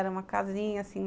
Era uma casinha assim,